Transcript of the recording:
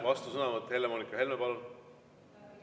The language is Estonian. Vastusõnavõtt, Helle-Moonika Helme, palun!